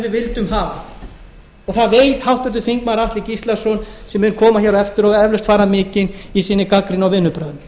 við vildum hafa það veit háttvirtir þingmenn atli gíslason sem mun koma hér á eftir og eflaust fara mikinn í sinni gagnrýni og vinnubrögðum